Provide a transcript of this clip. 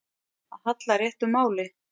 Að halla réttu máli